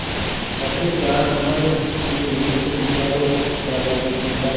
अपनी टाँग हमारे कुत्ते के मुँह से निकालो दादाजी चिल्लाए